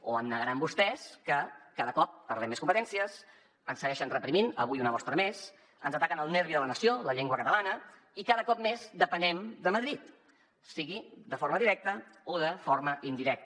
o em negaran vostès que cada cop perdem més competències ens segueixen reprimint avui una mostra més ens ataquen el nervi de la nació la llengua catalana i cada cop més depenem de madrid sigui de forma directa o de forma indirecta